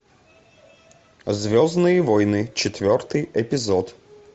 звездные войны четвертый эпизод